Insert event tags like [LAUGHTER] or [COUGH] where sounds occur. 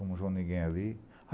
[UNINTELLIGIBLE] viu ninguém ali.